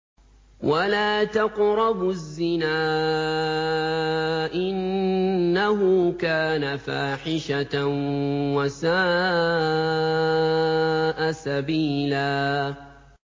وَلَا تَقْرَبُوا الزِّنَا ۖ إِنَّهُ كَانَ فَاحِشَةً وَسَاءَ سَبِيلًا